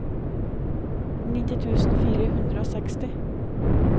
nitti tusen fire hundre og seksti